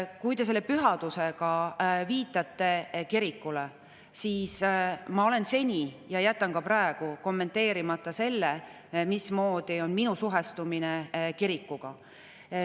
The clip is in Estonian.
Kui te selle pühadusega viitate kirikule, siis ma olen seni jätnud ja jätan ka praegu kommenteerimata selle, milline on minu suhestumine kirikuga.